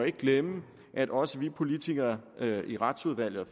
ikke glemme at også vi politikere i retsudvalget og